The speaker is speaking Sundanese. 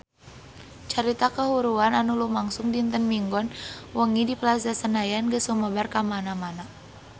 Carita kahuruan anu lumangsung dinten Minggon wengi di Plaza Senayan geus sumebar kamana-mana